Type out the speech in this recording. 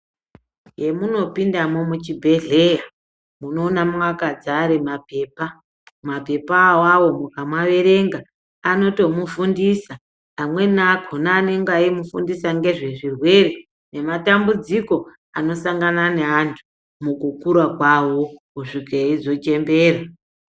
Pemunopindamwo muchibhedhleya unoona makadzare mapepa. Mapepa avavo mukamaverenga anotomufundisa, amweni akona anenge aimufundisa ngezvezvirwere nematambudziko anosangana neatu mukukura kwavo kushike eizo chembera.